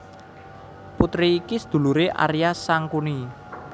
Putri iki seduluré Arya Sangkuni